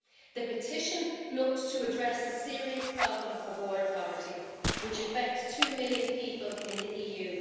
The petition looked to address the serious problem of water poverty, which affects two million people in the EU.